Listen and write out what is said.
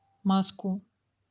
маску